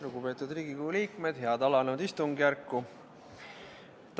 Lugupeetud Riigikogu liikmed, head alanud istungjärku!